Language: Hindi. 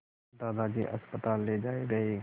दादाजी अस्पताल ले जाए गए